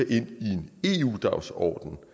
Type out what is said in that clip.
to